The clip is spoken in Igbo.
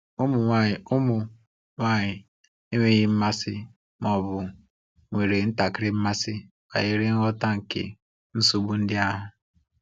Ụmụ nwanyị Ụmụ nwanyị enweghị mmasị ma ọ bụ nwere ntakịrị mmasị banyere ngwọta nke nsogbu ndị ahụ.